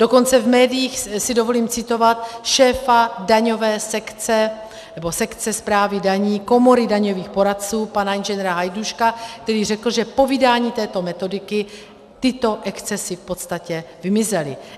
Dokonce v médiích si dovolím citovat šéfa daňové sekce, nebo sekce správy daní Komory daňových poradců, pana Ing. Hajduška, který řekl, že po vydání této metodiky tyto excesy v podstatě vymizely.